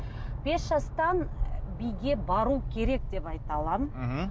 бес жастан биге бару керек деп айта аламын мхм